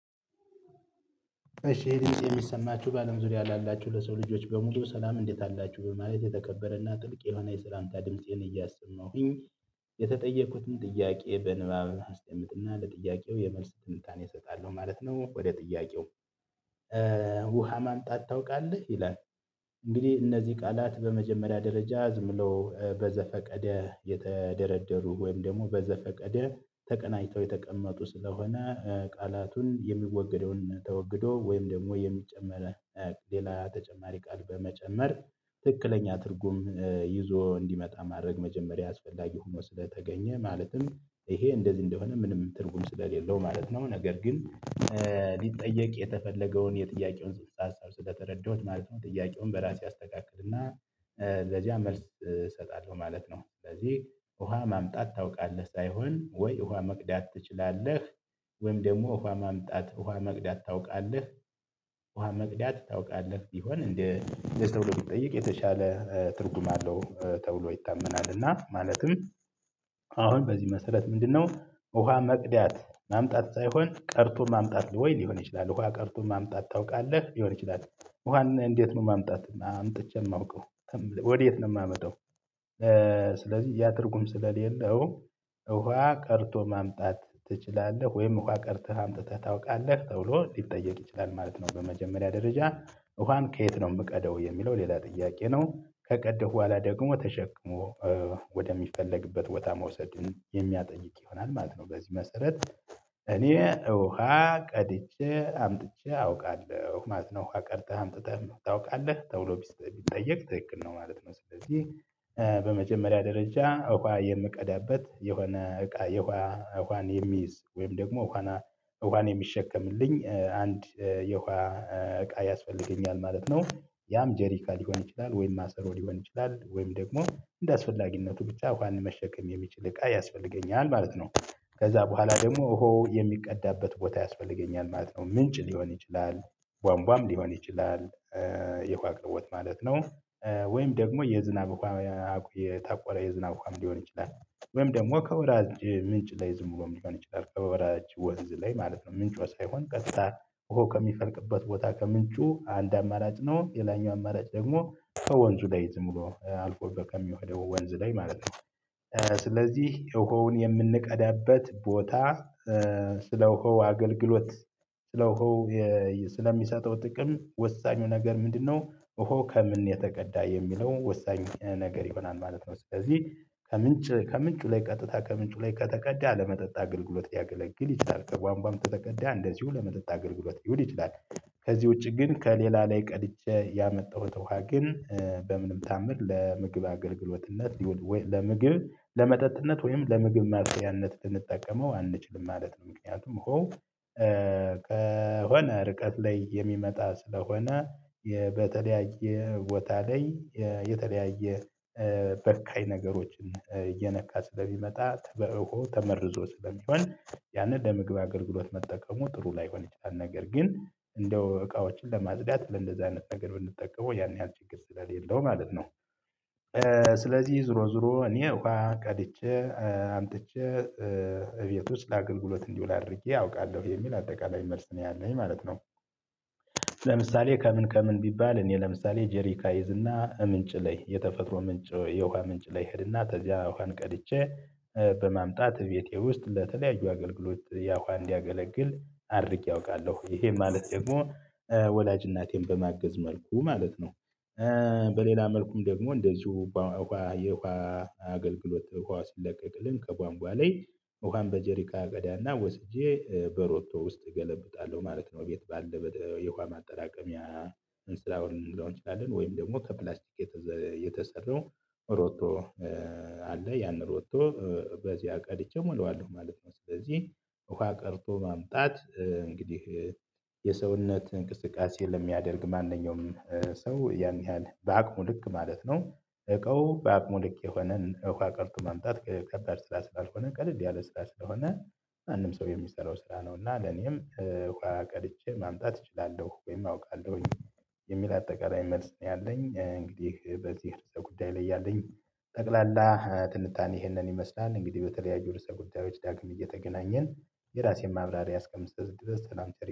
እሺ ይህ ድምጽ የሚሰማችሁ በአለም ዙሪያ ላላችሁ ለሰው ልጆች በሙሉ ሰላም እንዴት አላችሁ በማለት የተከበረና ጥልቅ የሆነ የሰላምታ ድምፄን እያሰማሁኝ የተጠየቁትን ጥያቄ በንባብ አስጠምጥና ለጥያቄው የመልስ ትንታኔ እሰጣለሁ ማለት ነው። ወደ ጥያቄው ውሃ ማምጣት ታውቃለህ ይላል? እንግዲህ እነዚህ ቃላት በመጀመሪያ ደረጃ ዝም ብሎ በዘፈቀደ የተደረደሩ ወይም ደግሞ በዘፈቀደ ተቀናጅተው የተቀመጡ ስለሆነ ቃላቱን የሚወገደውን ተወግዶ ወይም ደግሞ የሚጨመር ሌላ ተጨማሪ ቃል በመጨመር ትክክለኛ ትርጉም ይዞ እንዲመጣ ማድረግ መጀመሪያ አስፈላጊ ሆኖ ስለተገኘ ማለትም ይሄ እንደዚህ እንደሆነ ምንም ትርጉም ስለሌለው ማለት ነው። ነገር ግን ሊጠየቅ የተፈለገውን የጥያቄውን ፅንስ ሀሳብ ስለተረዳሁት ማለት ነው። ጥያቄውን በራሴ አስተካክልና ለዚያ መልስ እሰጣለሁ ማለት ነው። ስለዚህ ውሃ ማምጣት ታውቃለህ ሳይሆን ወይ ውሃ መቅዳት ትችላለህ? ወይም ደግሞ ውሃ ማምጣት ውሃ መቅዳት ታውቃለህ? ውሃ መቅዳት ታውቃለህ ቢሆን እንደ ለሰው ለመጠየቅ የተሻለ ትርጉም አለው ተብሎ ይታመናል። እና ማለትም አሁን በዚህ መሰረት ምንድነው? ውሃ መቅደት ማምጣት ሳይሆን ቀርቶ ማምጣት ወይ ሊሆን ይችላል ውሃ ቀርቶ ማምጣት ታውቃለህ ሊሆን ይችላል። ውሃን እንዴት ነው ማምጣት እና አምጥቼ የማውቀው? ወዴት ነው የማመጣው? ስለዚህ ያትርጉም ስለሌለው ውሃ ቀርድቶ ማምጣት ትችላለህ ወይም ውሃ ቀርተህ አምጥተህ ታውቃለህ ተብሎ ሊጠየቅ ይችላል ማለት ነው። በመጀመሪያ ደረጃ ውሃን ከየት ነው የምቀደው የሚለው ሌላ ጥያቄ ነው። ከቀደው በኋላ ደግሞ ተሸክሞ ወደሚፈለግበት ቦታ መውሰድን የሚያጠይቅ ይሆናል ማለት ነው። በዚህ መሰረት እኔ ውሃ ቀድቼ አምጥቼ አውቃለሁ ማለት ነው። ውሃ ቀድተህ አምጥተህ ታውቃለህ ተብሎ ቢጠየቅ ትክክል ነው ማለት ነው። ስለዚህ በመጀመሪያ ደረጃ ውሃ የምቀዳበት የሆነ እቃ የሆነ ውሃን የሚይዝ ወይም ደግሞ ውሃን የሚሸከምልኝ አንድ የውሃ እቃ ያስፈልገኛል ማለት ነው። ያም ጀሪካን ሊሆን ይችላል ወይም ማሰሮ ሊሆን ይችላል ወይም ደግሞ እንደአስፈላጊነቱ ብቻ ውሃን መሸከም የሚችል እቃ ያስፈልገኛል ማለት ነው። ከዚያ በኋላ ደግሞ ውሃው የሚቀዳበት ቦታ ያስፈልገኛል ማለት ነው። ምንጭ ሊሆን ይችላል። ቧንቧም ሊሆን ይችላል። የውሃ አቅርቦት ማለት ነው። ወይም ደግሞ የዝናብ ውሃ የታቆረ የዝናብ ውሃ ሊሆን ይችላል። ወይም ደግሞ ከወራጅ ምንጭ ላይ ዝሙ ብሎም ልሆን ይችላል ከወራጅ ወንዝ ላይ ማለት ነው። ምንጭ ሳይሆን ቀጥታ ውሃው ከሚፈልቅበት ቦታ ከምንጩ አንድ አማራጭ ነው። ሌላኛው አማራጭ ደግሞ ሰው ከወንዙ ላይ ዝም ብሎ አልፎበ ከሚሄደው ወንዝ ላይ ማለት ነው። ስለዚህ ውሃውን የምንቀዳበት ቦታ ስለውሃው አገልግሎት ስለውሃው ስለሚሰጠው ጥቅም ወሳኙ ነገር ምንድነው ውሃው ከምን የተቀዳ የሚለው ወሳኝ ነገር ይሆናል ማለት ነው። ስለዚህ ከምንጭ ከምንጩ ላይ ቀጥታ ከምንጩ ላይ ከተቀዳ ለመጠጣ አግልግሎት ሊያገለግል ይችላል። ከቧንቧ ከተቀዳ እንደዚሁ ለመጠጣ አገልግሎት ሊውድ ይችላል። ከዚህ ውጪ ግን ከሌላ ላይ ቀድጄ ያመጣሁት ውሃ ግን በምንም ታዓምር ለምግብ አገልግሎትነት ለምግብ ለመጠጥነት ወይም ለምግብ ማብሰያነት ልንጠቀመው አንችልም ማለት ነው። ምክንያቱም ውሃው ከሆነ ርቀት ላይ የሚመጣ ስለሆነ በተለያየ ቦታ ላይ የተለያየ በካይ ነገሮችን እየነካ ስለሚመጣ ተበእኮ ተመርዞ ስለሚሆን ያንን ለምግብ አገልግሎት መጠቀሙ ጥሩ ላይሆን ይችላል ነገር ግን እንደው እቃዎችን ለማጽዳት ለእንደዚህ አይነት ነገር ብንጠቀመው ያን ያህል ችግር ስለሌለው ማለት ነው። ስለዚህ ዞሮ ዞሮ እኔ ውሃ ቀድቼ አምጥቼ እቤት ውስጥ ለአገልግሎት እንዲውል አድርጌ አውቃለሁ የሚል አጠቃላይ መልስ ነው ያለኝ ማለት ነው። ለምሳሌ ከምን ከምን ቢባል እኔ ለምሳሌ ጄሪካ እይዝና ምንጭ ላይ የተፈጥሮ ምንጭ የውሃ ምንጭ ላይ ሄድና ከዚያ ውሃን ቀድቼ በማምጣት ቤቴ ውስጥ ለተለያዩ አገልግሎት ያውሃ እንዲያገለግል አድርጌ አውቃለሁ ይሄ ማለት ደግሞ ወላጅ እናቴን በማገዝ መልኩ ማለት ነው። በሌላ መልኩም ደግሞ እንደዚሁ የውሃ አገልግሎት ውሃ ስለቀቅልን ከቧንቧ ላይ ውሃን በጀሪካ እቀዳና ወስጄ በሮቶ ውስጥ እገለብጣለሁ ማለት ነው። ቤት ባለው የውሃ ማጠራቀሚያ ስራውን ልንለው እንችላለን ወይም ደግሞ ከፕላስቲክ የተሰራው ሮቶ አለ ያንን ሮቶ ቀድቼ እሞለዋለሁ ማለት ነው። ስለዚህ ውሃ ቀድቶ ማምጣት እንግዲህ የሰውነት እንቅስቃሴ ለሚያደርግ ማንኛውም ሰው ያን ያህል በአቅሙ ልክ ማለት ነው እቃው በአቅሙ ልክ የሆነን እቃ ቀድቶ ማምጣት ከበድ ስራ ስላልሆነ ቀለል ያለ ስራ ስለሆነ ማንም ሰው የሚሰራው ስራ ነው። እና ለኔም ውሃ ቀድቼ ማምጣት እችላለሁ ወይም አውቃለሁኝ የሚል አጠቃላይ መልስ ነው ያለኝ። እንግዲህ በዚህ ርዕሰ ጉዳይ ላይ ያለኝ ጠቅላላ ትንታኔ ይሄንን ይመስላል። እንግዲህ በተለያዩ ርዕሰ ጉዳዮች ዳግም እየተገናኘን የራሴን ማብራሪያ እስከምሰጥ ድረስ ሰላም ቸር